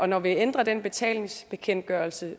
når vi ændrer den betalingsbekendtgørelse